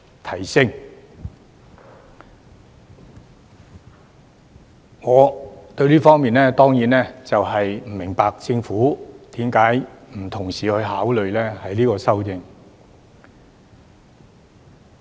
就此，我當然不明白為何政府不同時考慮修訂最高款額上限。